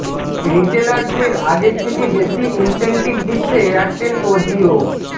রিটেলারদের আগের থেকে বেশি ইনসেনটিভ দিচ্ছে এয়ারটেল ও জিও